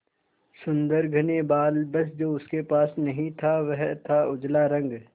सुंदर घने बाल बस जो उसके पास नहीं था वह था उजला रंग